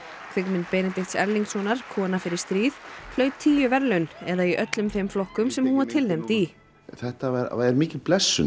kvikmynd Benedikts Erlingssonar kona fer í stríð hlaut tíu verðlaun eða í öllum þeim flokkum sem hún var tilnefnd í þetta var mikil blessun